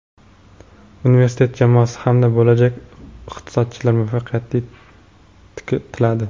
universitet jamoasi hamda bo‘lajak iqtisodchilarga muvaffaqiyat tiladi.